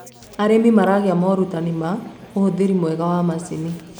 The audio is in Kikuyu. arĩmi maragia morutanĩ ma uhuthiri mwega wa macinĩ